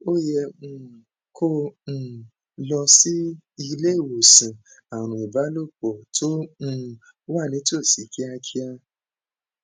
o yẹ um kó um o lọ sí ilé ìwòsàn àrùn ìbálòpọ tó um wà nítòsí kíákíá